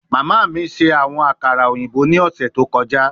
Mama mi ṣe awọn akara oyinbo ni ọsẹ to kọja